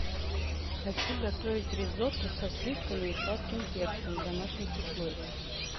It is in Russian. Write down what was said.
хочу готовить ризотто со сливками и сладким перцем в домашних условиях